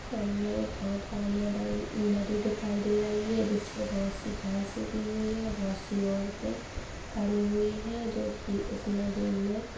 सामने एक बहुत बड़ा मैदान- नदी दिखाई दे रही है जिसपे बहुत सी घास उगी हुई है बहुत सी औरते खड़ी हुई है जो कि इस नदी मे--